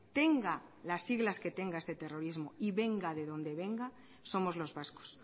tenga las siglas que tenga ese terrorismo y venga de donde venga somos los vascos